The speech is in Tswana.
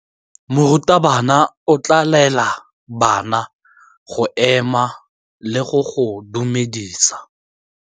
Morutabana o tla laela bana go ema le go go dumedisa.